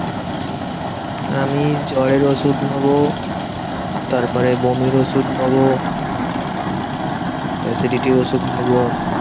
আমি জ্বরের ওষুধ নেবো। তারপরে বমির ওষুধ নেবো। acidity র ওষুধ নেবো।